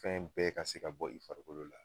Fɛn bɛɛ ka se ka bɔ i farikolo la